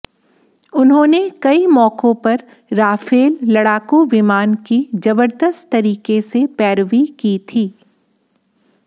उन्होंने कई मौकों पर राफेल लड़ाकू विमान की जबरदस्त तरीके से पैरवी की थी